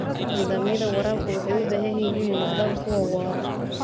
Nidaamyada waraabka waxay u baahan yihiin inay noqdaan kuwo waara.